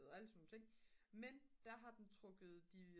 og alle sådan nogle ting men der har den trukket de